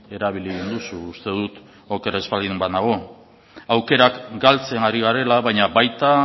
erabili duzu uste dut oker ez baldin banago aukerak galtzen ari garela baina baita